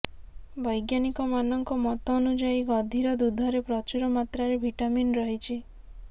ବୈଜ୍ଞାନିକମାନଙ୍କ ମତ ଅନୁଯାୟୀ ଗଧିର ଦୁଧରେ ପ୍ରଚୁର ମାତ୍ରାରେ ଭିଟାମିନ୍ ରହିଛି